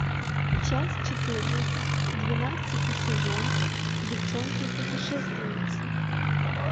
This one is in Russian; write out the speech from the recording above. часть четырнадцать двенадцатый сезон девчонки путешественницы